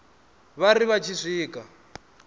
vha ri vha tshi swika